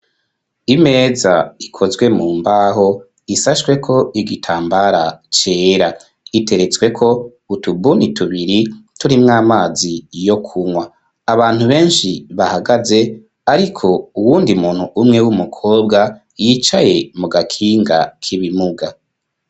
Imeza ikozwe mu mbaho ishashweko igitambara cera iteretsweko utubuni tubiri turi mw'amazi yo kunywa abantu benshi bahagaze ariko uwundi muntu umwe w'umukobwa yicaye mu gakinga k'ibimuga.